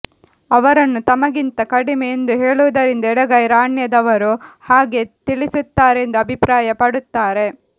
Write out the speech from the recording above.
ಅವರನ್ನು ತಮಗಿಂತ ಕಡಿಮೆ ಎಂದು ಹೇಳುವುದರಿಂದ ಎಡಗೈ ರಾಣ್ಯದವರು ಹಾಗೆ ತಿಳಿಸುತ್ತಾರೆಂದು ಅಭಿಪ್ರಾಯ ಪಡುತ್ತಾರೆ